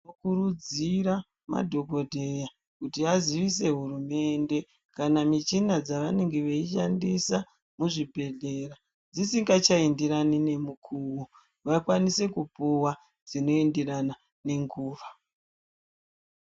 Tinokurudzira madhokodheya audze hurumende kana michina dzavanenge veishandisa muzvibhedhlera dzisingachaenderani nemukuwo vakwanise kupuwa dzinoenderana nenguwa.